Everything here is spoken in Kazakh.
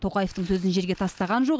тоқаевтың сөзін жерге тастаған жоқ